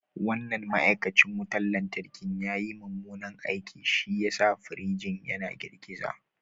Wannan ma’aikacin wutar lantarki ya yi mummunan aiki, shi ya sa firinjin yana girgiza